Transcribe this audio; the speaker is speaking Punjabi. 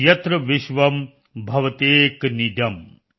ਯਤ੍ਰ ਵਿਸ਼ਵਮ ਭਵਤਯੇਕ ਨੀਡਮ